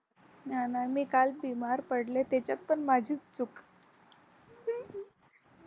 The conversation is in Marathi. नाही नाही मी काल बिमार पडले त्याच्यात पण माझी चूक